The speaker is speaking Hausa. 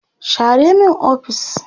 share min ofis!